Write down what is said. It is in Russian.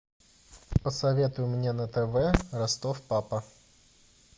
посоветуй мне на тв ростов папа